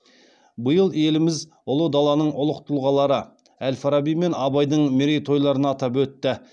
биыл еліміз ұлы даланың ұлық тұлғалары әл фараби мен абайдың мерейтойларын атап өтті